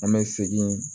An bɛ segin